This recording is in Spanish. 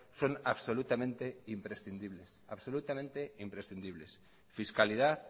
son absolutamente imprescindibles fiscalidad